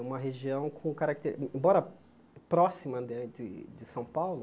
É uma região com caracter... Embora próxima né de de São Paulo,